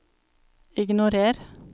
ignorer